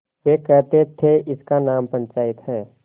वे कहते थेइसका नाम पंचायत है